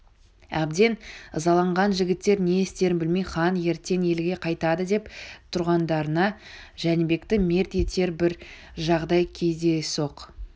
әбден ызаланған жігіттер не істерін білмей хан ертең елге қайтады деп тұрғандарында жәнібекті мерт етер бір жағдай кездейсоқ